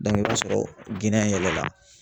i b'a sɔrɔ yɛlɛla